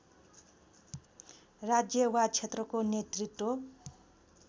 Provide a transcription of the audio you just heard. राज्य वा क्षेत्रको नेतृत्व